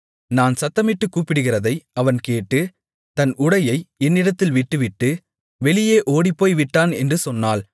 நான் சத்தமிட்டுக் கூப்பிடுகிறதை அவன் கேட்டு தன் உடையை என்னிடத்தில் விட்டுவிட்டு வெளியே ஓடிப்போய்விட்டான் என்று சொன்னாள்